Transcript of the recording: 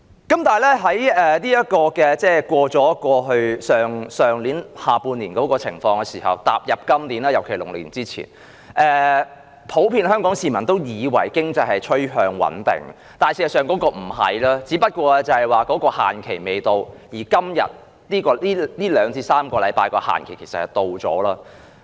然而，當度過去年下半年的情況後，步入今年，尤其是農曆年前，香港普遍市民以為經濟趨向穩定，但事實不是，只是限期未到，而在這2至3個星期裏，限期已到。